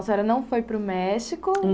A senhora não foi para o México?